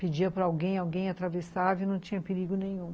Pedia para alguém, alguém atravessava e não tinha perigo nenhum.